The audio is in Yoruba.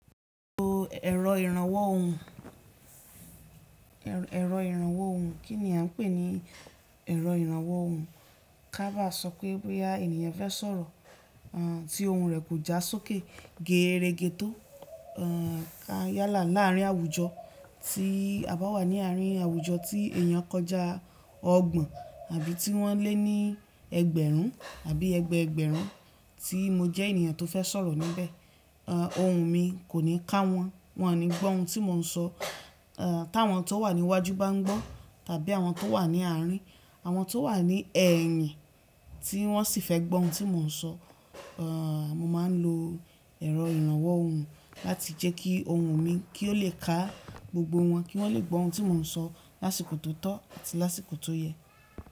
Mo lo ẹ̀rọ ìrànwọ́ ohùn. Ẹ̀rọ ìrànwọ́ ohùn, kí ni a ń pè ní ẹ̀rọ ìrànwọ́ ohùn? Kábà sọ pé bí ènìyàn fẹ́ sọ̀rọ̀, à ti ohùn rẹ̀ kò já sókè gẹrẹ́gẹ tó, à yálà láàrín àwùjọ, tí a bá wà ní àárín àwùjọ tí èèyàn kọjá ọgbọ̀n àbí tí wọ́n lé ní ẹgbẹ̀rún àbí ẹgbẹ̀ẹgbẹ̀rún tí mo jẹ́ ènìyàn tó fẹ́ sọ̀rọ̀ níbẹ̀, à ohùn mi kò ní ká wọ́n, wọ́n ò ní gbọ́ ohun tí mò ń sọ. À táwọn tó wà ní iwájú bá ń gbọ́ tàbí àwọn tó wà ní àárín, àwọn tó wà ní ẹ̀yìn tí wọ́n sì fẹ́ gbọ́ ohun tí mò ń sọ, à mo máa ń lo ẹ̀rọ ìrànwọ́ ohùn láti jẹ́ kí ohùn mi kí ó lè ká gbogbo wọ́n, kí wọ́n lè gbọ́ ohun tí mò ń sọ lásìkò tó tọ́ àti lásìkò tó yẹ.